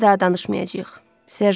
Bu barədə daha danışmayacağıq.